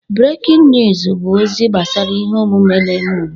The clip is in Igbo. Brekiñ ñụsụ bụ ozi gbasara ihe omume na-eme ugbu a.